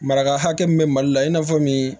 Maraka hakɛ min bɛ mali la i n'a fɔ min